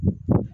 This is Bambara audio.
Unhun